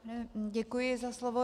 Děkuji za slovo.